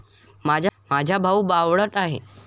माझा भाऊ बावळट आहे.